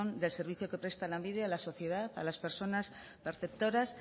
del servicio que presta lanbide a la sociedad a las personas perceptoras